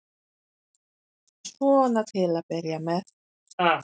Svona til að byrja með.